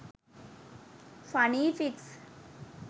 funny pics